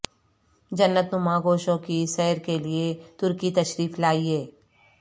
جنت نما گوشوں کی سیر کے لیے ترکی تشریف لائیے